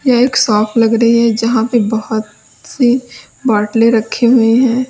यह एक शॉप लग रही है जहां पर बहुत से बाटले रखें हुये हैं।